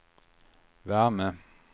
värme